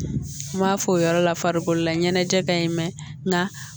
N m'a fɔ o yɔrɔ la farikolo laɲɛnajɛ ka ɲi mɛ nka